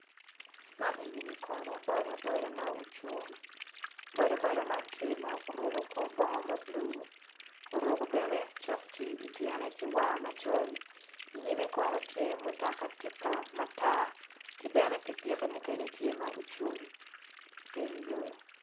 Man enini kono boda boda ma ocung bodaboda man tye ma oruko kor bongo ma blue oruko bene sokci i tyene ki war macol i nyime kono tye mutoka tipa matar ki bene pipiki mukene tye ma ocung i teng yo.